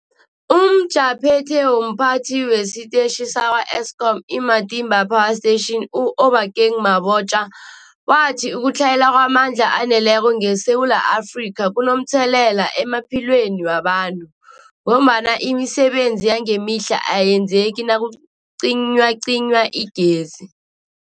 UmJaphethe womPhathi wesiTetjhi sakwa-Eskom i-Matimba Power Station u-Obakeng Mabotja wathi ukutlhayela kwamandla aneleko ngeSewula Afrika kunomthelela emaphilweni wabantu ngombana imisebenzi yangemihla ayenzeki nakucinywacinywa igezi.